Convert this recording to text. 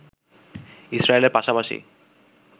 ইসরায়েলের পাশাপাশি